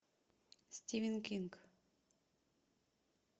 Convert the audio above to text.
стивен кинг